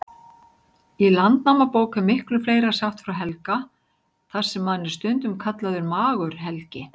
Í Landnámabók er miklu fleira sagt frá Helga, þar sem hann er stundum kallaður Magur-Helgi.